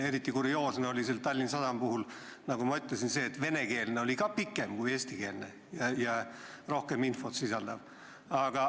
Eriti kurioosne oli Tallinna Sadama puhul, nagu ma ütlesin, see, et isegi venekeelne prospekt oli pikem ja sisaldas rohkem infot kui eestikeelne.